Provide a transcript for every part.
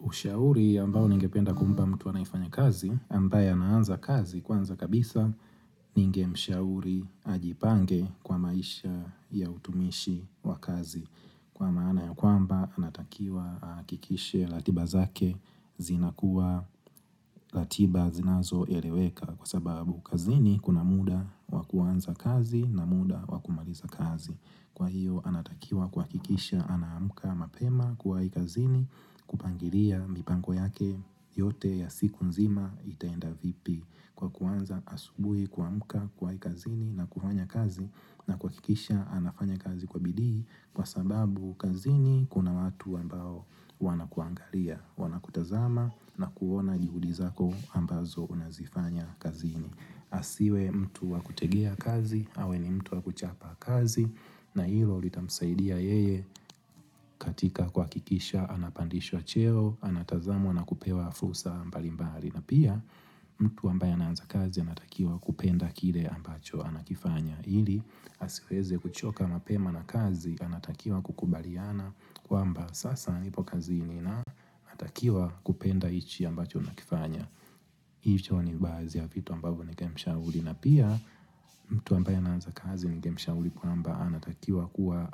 Ushauri ambao ningependa kumpa mtu anafanya kazi ambaye anaanza kazi kwanza kabisa ninge mshauri ajipange kwa maisha ya utumishi wa kazi. Kwa maana ya kwamba anatakiwa ahakikishe ratiba zake zina kuwa ratiba zinazo eleweka kwa sababu kazini kuna muda wakuanza kazi na muda wakumaliza kazi. Kwa hiyo anatakiwa kuhakikisha anamka mapema kuwai kazini kupangilia mipango yake yote ya siku nzima itaenda vipi kwa kuanza asubuhi kuamka kuwai kazini na kufanya kazi na kuhakikisha anafanya kazi kwa bidii kwa sababu kazini kuna watu ambao wanakuangalia wanakutazama na kuona jihudi zako ambazo unazifanya kazini. Asiwe mtu wakutegea kazi, awe ni mtu wakuchapa kazi na hilo litamsaidia yeye katika kuhakikisha Anapandishwa cheo, anatazamwa na kupewa fursa mbalimbali na pia mtu ambaye anaanza kazi anatakiwa kupenda kile ambacho anakifanya ili asiweze kuchoka mapema na kazi anatakiwa kukubaliana kwamba sasa nipo kazini na atakiwa kupenda hichi ambacho anakifanya hicho ni baadhi ya vitu ambavyo ningemshauri na pia mtu ambaye anaanza kazi ningemshauri kwamba anatakiwa kuwa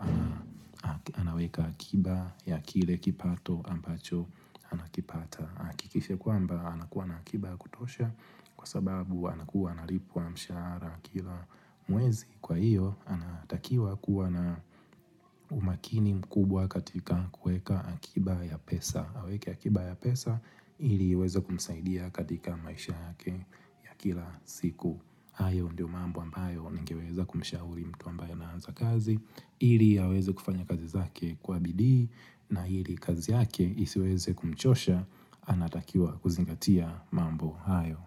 anaweka akiba ya kile kipato ambacho anakipata ahakikishe kwamba anakuwa na akiba ya kutosha kwa sababu anakuwa analipwa mshahara kila mwezi Kwa hiyo anatakiwa kuwa na umakini mkubwa katika kueka akiba ya pesa aweke akiba ya pesa ili iweze kumsaidia katika maisha yake ya kila siku hayo ndio mambo ambayo nigeweza kumshauri mtu ambayo anaanza kazi Iri aweze kufanya kazi zake kwa bidii na hili kazi yake isiweze kumchosha Anatakiwa kuzingatia mambo hayo.